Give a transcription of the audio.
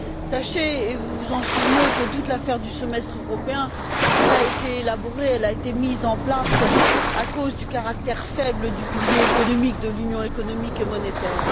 Sachez et vous vous en souvenez que toute l'affaire du semestre européen a été élaborée et mise en place à cause du caractère faible du pilier économique de l'Union économique et monétaire.